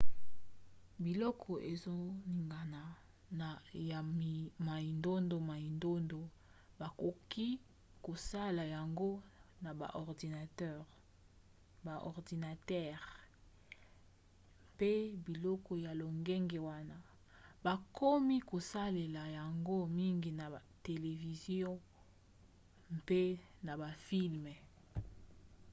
biloko ezoningana ya mindondomindondo bakoki kosala yango na baordinatere mpe biloko ya lolenge wana bakomi kosalela yango mingi na televizio mpe na bafilme